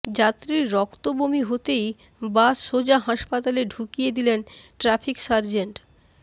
যাত্রীর রক্তবমি হতেই বাস সোজা হাসপাতালে ঢুকিয়ে দিলেন ট্র্যাফিক সার্জেন্ট